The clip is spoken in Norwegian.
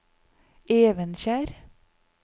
Evenskjer